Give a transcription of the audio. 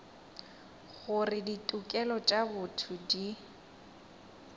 gore ditokelo tša botho di